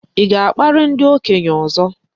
Ị ga-akparị ndị okenye ọzọ?